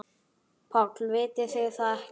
PÁLL: Vitið þið það ekki?